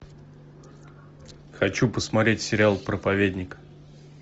хочу посмотреть сериал проповедник